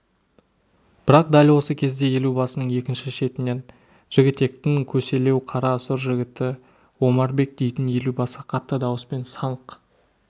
бірақ дәл осы кезде елубасының екінші шетінен жігітектің көселеу қара сұр жігіті омарбек дейтін елубасы қатты дауыспен саңқ